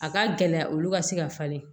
A ka gɛlɛya olu ka se ka falen